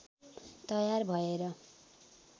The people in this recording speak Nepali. तयार भएर